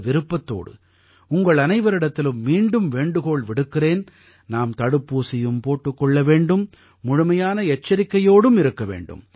இந்த விருப்பத்தோடு உங்கள் அனைவரிடத்திலும் மீண்டும் வேண்டுகோள் விடுக்கிறேன் நாம் தடுப்பூசியும் போட்டுக் கொள்ள வேண்டும் முழுமையான எச்சரிக்கையோடும் இருக்க வேண்டும்